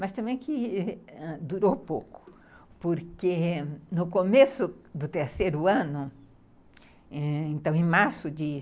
Mas também que durou pouco, porque no começo do terceiro ano, em março de